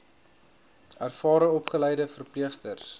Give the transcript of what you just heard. ervare opgeleide verpleegsters